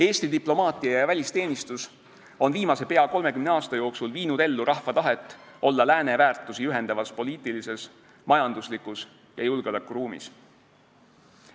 Eesti diplomaatia ja välisteenistus on viimase pea 30 aasta jooksul viinud ellu rahva tahet, et me oleksime lääne väärtusi ühendavas poliitilises, majanduslikus ja julgeolekuruumis.